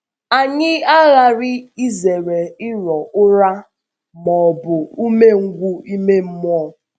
Anyị aghàrị izèré ìrò ụ̀rā ma ọ ọ um bụ ùmèngwù ime mmụọ.